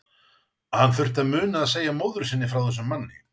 Hann þurfti að muna að segja móður sinni frá þessum manni.